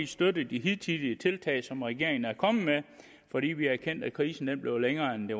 støttet de hidtidige tiltag som regeringen er kommet med fordi vi har erkendt at krisen blev længere end